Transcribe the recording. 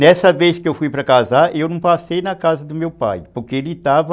Nessa vez que eu fui para casar, eu não passei na casa do meu pai, porque ele estava...